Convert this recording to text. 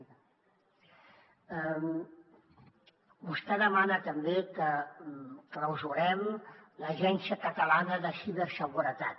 vostè demana també que clausurem l’agència catalana de ciberseguretat